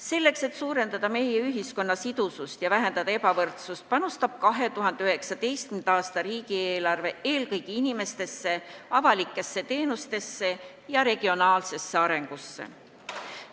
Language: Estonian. Selleks, et suurendada meie ühiskonna sidusust ja vähendada ebavõrdsust, panustab 2019. aasta riigieelarve eelkõige inimestesse, avalikesse teenustesse ja regionaalsesse arengusse.